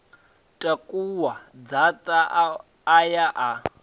takuwa dzaṱa a ya a